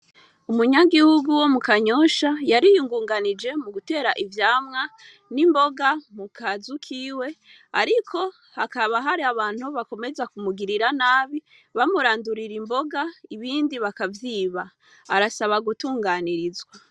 Umunyagihugu wo mu Kanyosha, yariyungunganije mu gutera ivyamwa n' imboga mu kazu kiwe, ariko hakaba hari abantu bakomeza kumugirira nabi, bamurandurira imboga ,ibindi bakavyiba. Arasaba gutunganirizwa.